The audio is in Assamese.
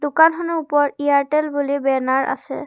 দোকানখনৰ ওপৰত এয়াৰটেল বুলি বেনাৰ আছে।